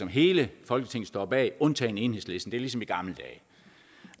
hele folketinget står bag undtagen enhedslisten det er ligesom i gamle